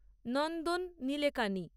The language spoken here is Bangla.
নন্দন নিলেকানি